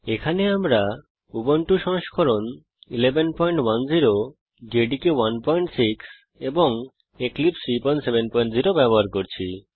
এখানে আমরা উবুন্টু সংস্করণ 1110 জেডিকে 16 এবং এক্লিপসাইড 370 ব্যবহার করছি